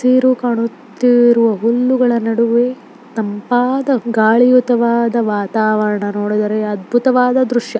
ತಿರು ಕಾಣುತ್ತಿರುವ ಹುಲ್ಲುಗಳು ನಡುವೆ ತಂಪಾದ ಗಾಳಿಯುತವಾದ ವಾತಾವರಣ ನೋಡಿದರೆ ಅದ್ಭುತವಾದ ದೃಶ್ಯ.